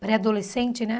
Pré-adolescente, né?